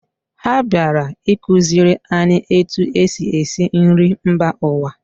Ha bịara ịkụziri anyị etu e si esi nri mba ụwa